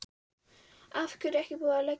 Af hverju er ekki búið að leggja þau af?